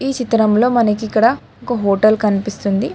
ఈ చిత్రంలో మనకి ఇక్కడ ఒక హోటల్ కనిపిస్తుంది.